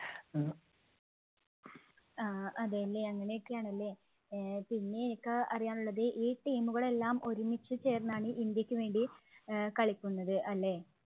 ആഹ് അതെല്ലേ അങ്ങനെയൊക്കെ ആണ് ല്ലേ. ഏർ പിന്നെ എനിക്ക് അറിയാന്‍ ഉള്ളത് ഈ team ഉകള്‍ എല്ലാം ഒരുമിച്ച് ചേര്‍ന്നാണ് ഇന്ത്യക്ക് വേണ്ടി കളിക്കുന്നത് അല്ലേ?